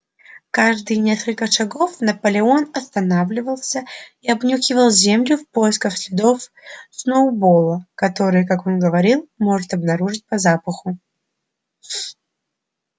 каждые несколько шагов наполеон останавливался и обнюхивал землю в поисках следов сноуболла которые как он говорил может обнаружить по запаху